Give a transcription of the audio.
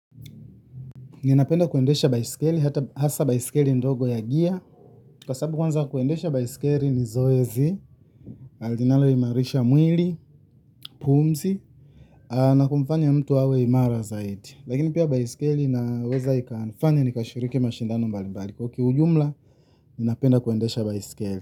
Ninapenda kuendesha baiskeli hasa baiskeli ndogo ya gear kwa sababu kwanza kuendesha baiskeli ni zoezi linaloimarisha mwili, pumzi na kumfanya mtu awe imara zaidi lakini pia baiskeli inaweza ikanifanya nikashiriki mashindano mbalimbali kwa kiujumla ninapenda kuendesha baiskeli.